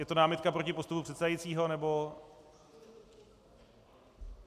Je to námitka proti postupu předsedajícího, nebo...